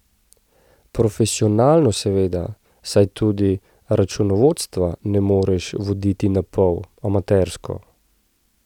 Profesionalno seveda, saj tudi računovodstva ne moreš voditi napol, amatersko.